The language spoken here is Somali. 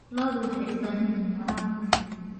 Lo'du waxay u baahan yihiin waraab ku filan.